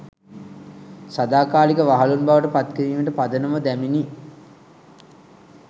සදාකාලික වහලුන් බවට පත් කිරීමට පදනම දැමිණි